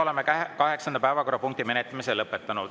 Oleme kaheksanda päevakorrapunkti menetlemise lõpetanud.